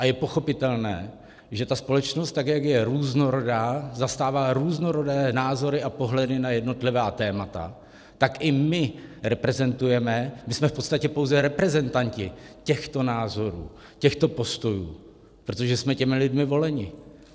A je pochopitelné, že ta společnost, tak jak je různorodá, zastává různorodé názory a pohledy na jednotlivá témata, tak i my reprezentujeme - my jsme v podstatě pouze reprezentanti těchto názorů, těchto postojů, protože jsme těmi lidmi voleni.